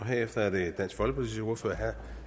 herefter er det dansk folkepartis ordfører herre